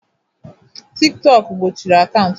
tiktok gbochiri akaụntụ m